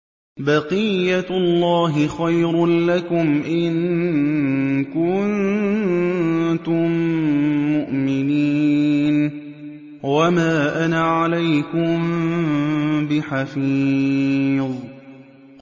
بَقِيَّتُ اللَّهِ خَيْرٌ لَّكُمْ إِن كُنتُم مُّؤْمِنِينَ ۚ وَمَا أَنَا عَلَيْكُم بِحَفِيظٍ